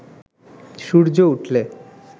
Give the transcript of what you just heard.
সূর্য উঠলে